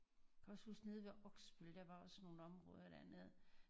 Jeg kan også huske nede ved Øksbøl der var også nogen områder dernede